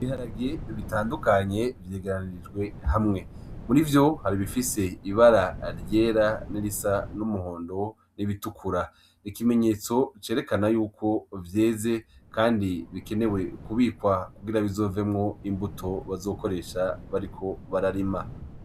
Ibiharage bitandukanye vyegeranijwe hamwe. Murivyo, hari ibifise ibara ryera nirisa n’umuhondo n’ibitukura. Ikimenyetso cerekana yuko vyeze kandi bikenewe kubikwa kugira bizovemwo imbuto bazokoresha bariko bararima.